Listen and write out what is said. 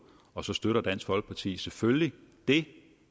og så støtter dansk folkeparti det selvfølgelig